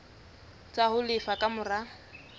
tsa ho lefa ka mora